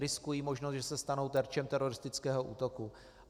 Riskují možnost, že se stanou terčem teroristického útoku.